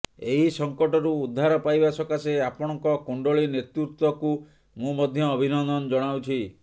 ଏହି ସଂକଟରୁ ଉଦ୍ଧାର ପାଇବା ସକାଶେ ଆପଣଙ୍କ କୂଶଳୀ ନେତୃତ୍ୱକୁ ମୁଁ ମଧ୍ୟ ଅଭିନନ୍ଦନ ଜଣାଉଛି